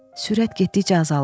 Sürət getdikcə azalır.